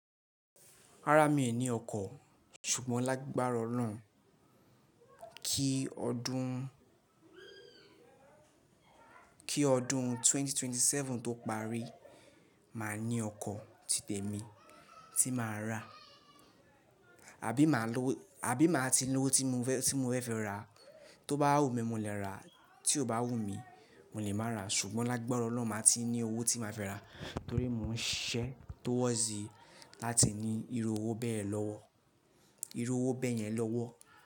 Rárá mi ò ní ọkọ̀, ṣùgbọ́n lágbára Ọlọ́run kí ọdún, kí ọdún ẹgbẹ̀rún méjì ó lé ẹ́tàdínlọ́gbọ̀n tó parí, màá ní ọkọ̀ ti tèmi tí màá rà. Àbí màá lo, àbí màá ti lowó tí mo fẹ́ fi ra, tó bá wù mí mo lè rà, tí ò bá wù mí mo lè má rà, ṣùgbọ́n lágbára Ọlọ́run màá ti ní owó tí màá fi rà torí mò ń ṣisẹ́ towards láti ní irú owó bẹ́ẹ̀ lọ́wọ́, irú owó bẹ́ẹ̀ yẹn lọ́wọ́